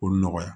K'o nɔgɔya